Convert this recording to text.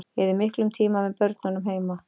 Ég eyði miklum tíma með börnunum heima.